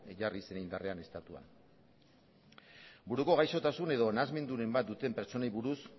jarri zen indarrean estatuan buruko gaixotasun edo nahasmenduren bat duten pertsonei buruz